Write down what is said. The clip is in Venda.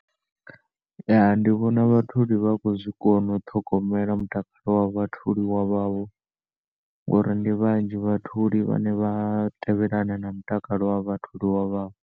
Ya ndi vhona vha tholi vha kho zwikona u ṱhogomela mutakalo wa vhatholiwa wavho ngaori ndi vhanzhi vhatholi vhane vha tevhelana na mutakalo wa vhatholiwa wavho.